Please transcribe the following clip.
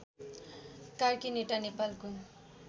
कार्कीनेटा नेपालको